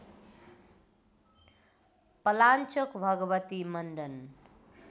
Palanchok Bhagwati Mandan